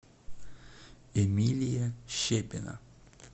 эмилия щепина